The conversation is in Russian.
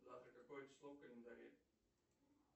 завтра какое число в календаре